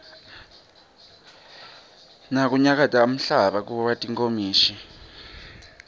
nakunyakata umhlaba kuwa tinkomishi